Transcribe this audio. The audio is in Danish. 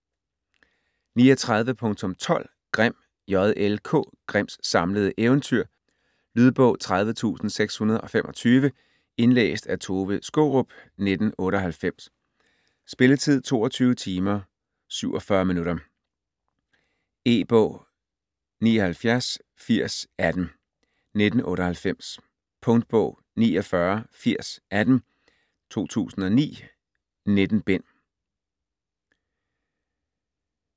39.12 Grimm, J. L. K.: Grimms samlede eventyr Lydbog 30625 Indlæst af Tove Skaarup, 1998. Spilletid: 22 timer, 47 minutter. E-bog 798018 1998. Punktbog 498018 2009.19 bind.